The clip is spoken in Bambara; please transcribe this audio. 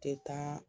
Tɛ taa